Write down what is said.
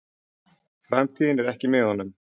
Framtíðin er ekki með honum.